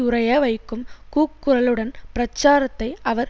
உறைய வைக்கும் கூக்குரலுடன் பிரச்சாரத்தை அவர்